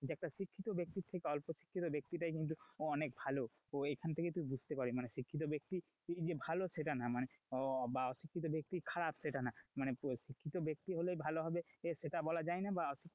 যে একটা শিক্ষিত ব্যক্তি থেকে অল্প শিক্ষিত ব্যক্তিতাই কিন্তু অনেক ভালো, তো এখান থেকেই তো বুঝতে পারবি মানে শিক্ষিত ব্যক্তি যে ভালো সেটা না, মানে বা অশিক্ষিত ব্যক্তি যে খারাপ সেটা না, মানে শিক্ষিত ব্যক্তি হলেই ভালো হবে সেটা বলা যায় না বা অশিক্ষিত,